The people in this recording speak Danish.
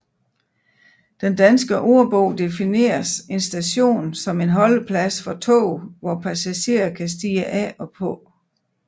Den Danske Ordbog defineres en station som en holdeplads for tog hvor passagerer kan stige af og på